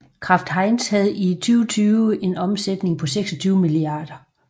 Kraft Heinz havde i 2020 en omsætning på 26 mia